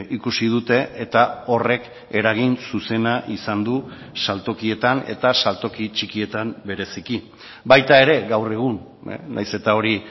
ikusi dute eta horrek eragin zuzena izan du saltokietan eta saltoki txikietan bereziki baita ere gaur egun nahiz eta hori